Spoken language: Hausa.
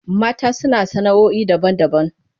Mata suna sana'oi daban-daban.